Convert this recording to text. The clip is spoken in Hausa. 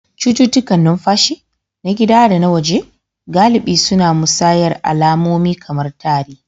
Cututtukan numfashi, na gida da na waje, galibi suna musayar alamomi kamar tari